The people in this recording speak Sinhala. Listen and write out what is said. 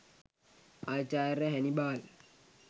ආචාර්ය හැනිබාල්